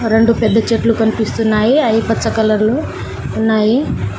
రెండు పెద్ద చెట్లు కనిపిస్తున్నాయి. అయి పచ్చ కలర్లో ఉన్నాయి .